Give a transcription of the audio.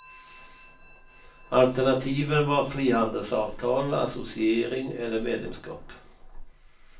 Alternativen var frihandelsavtal, associering eller medlemskap.